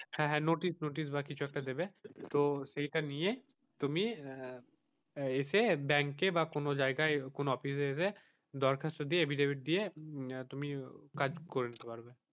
হাঁ হাঁ notice বা কিছু একটা দেবে, তো সেইটা নিয়ে তুমি এসে bank বা কোনো জায়গায় কোনো office এ এসে দরখাস্ত দিয়ে আহ affidavit দিয়ে তুমি কাজ করিয়ে নিতে পারবে।